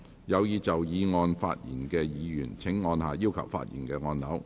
有意就議案發言的議員請按下"要求發言"按鈕。